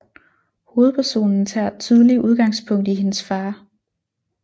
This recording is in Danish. Hovedpersonen tager tydelig udgangspunkt i hendes far